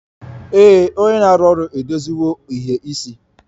Ee, onye na-arụ ọrụ edoziwo ìhè isi